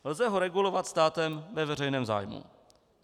Lze ho regulovat státem ve veřejném zájmu.